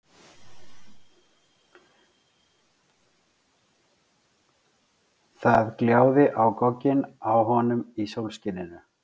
Það gljáði á gogginn á honum í sólskininu.